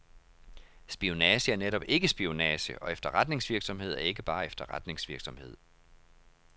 Spionage er netop ikke spionage, og efterretningsvirksomhed er ikke bare efterretningsvirksomhed.